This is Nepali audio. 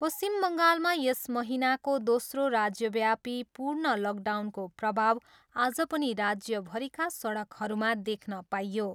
पश्चिम बङ्गालमा यस महिनाको दोस्रो राज्यव्यापी पूर्ण लकडाउनको प्रभाव आज पनि राज्यभरिका सडकहरूमा देख्न पाइयो।